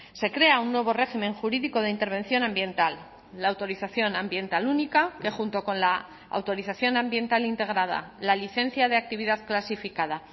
se crea un nuevo régimen jurídico de intervención ambiental la autorización ambiental única que junto con la autorización ambiental integrada la licencia de actividad clasificada